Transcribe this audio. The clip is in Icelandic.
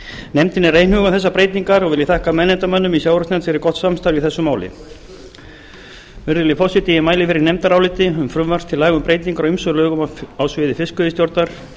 nefndin er einhuga um þessar breytingar og vil ég þakka meðnefndarmönnum i sjávarútvegsnefnd fyrir gott samstarf í þessu máli virðulegi forseti ég mæli fyrir nefndaráliti um frumvarp til laga um breytingar á ýmsum lögum á sviði fiskveiðistjórnar